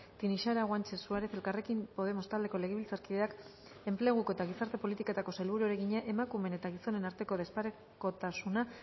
tinixara guanche suárez elkarrekin podemos taldeko legebiltzarkideak enpleguko eta gizarte politiketako sailburuari egina emakumeen eta gizonen arteko desparekotasuna